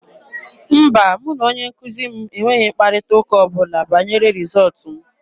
Mba, mụ na onye nkuzi m enweghị mkparịta ụka ọ bụla banyere rịzọọtụ m.